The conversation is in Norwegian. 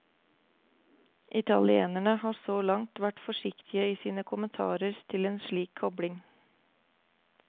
Italienerne har så langt vært forsiktige i sine kommentarer til en slik kobling.